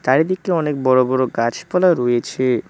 চারিদিকে অনেক বড় বড় গাছপালা রয়েছে।